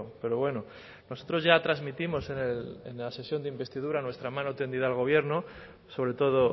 pero bueno nosotros ya transmitimos en la sesión de investidura nuestra mano tendida al gobierno sobre todo